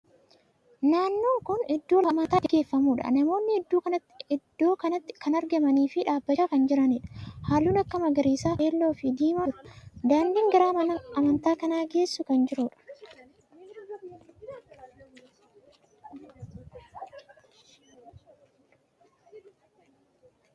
Naannon kuni iddoo lafa amantaan itti gaggeeffamuudha. Namootni iddoo kanatti kan argamanii fi dhaabbachaa kan jiraniidha. Haallun akka magariisaa, keelloo fi diimaa ni jiru. Daandin gara mana amantaa kana geessu kan jiruudha.